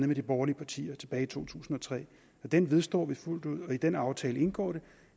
med de borgerlige partier tilbage i to tusind og tre og den står vi fuldt ud ved i den aftale indgår det